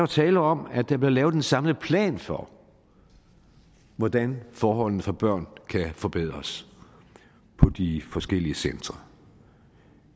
tale om at der bliver lavet en samlet plan for hvordan forholdene for børn kan forbedres på de forskellige centre